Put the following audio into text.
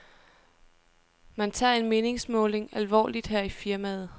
Man tager en meningsmåling alvorligt her i firmaet.